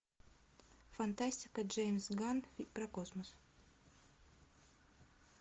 фантастика джеймс ганн про космос